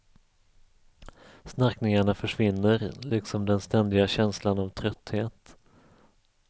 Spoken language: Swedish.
Snarkningarna försvinner, liksom den ständiga känslan av trötthet.